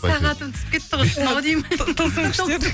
сағатым түсіп кетті ғой тылсым күштер